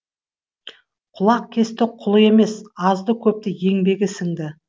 құлақкесті құлы емес азды көпті еңбегі сіңді